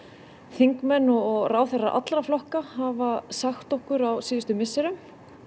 þingmenn og ráðherrar allra flokka hafa sagt okkur á síðustu misserum